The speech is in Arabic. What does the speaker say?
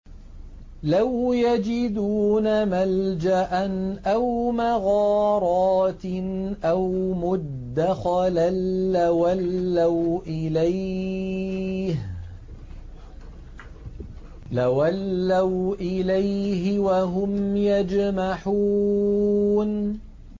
لَوْ يَجِدُونَ مَلْجَأً أَوْ مَغَارَاتٍ أَوْ مُدَّخَلًا لَّوَلَّوْا إِلَيْهِ وَهُمْ يَجْمَحُونَ